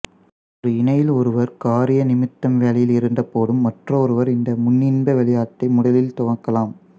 ஒரு இணையில் ஒருவர் காரிய நிமித்தம் வேலையில் இருந்தபோதும் மற்றொருவர் இந்த முன்னின்ப விளையாட்டை முதலில் துவக்கலாம்